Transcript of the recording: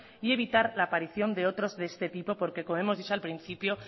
y evitar la aparición de otros de este tipo porque como hemos dicho al principio